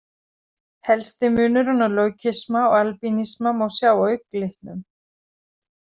Helsti munurinn á leukisma og albinisma má sjá á augnlitnum.